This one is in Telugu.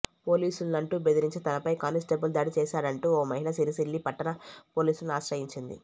పోలీసునంటూ బెదిరించి తనపై కానిస్టేబుల్ దాడి చేశాడంటూ ఓ మహిళ సిరిసిల్ల పట్టణ పోలీసులను ఆశ్రయించింది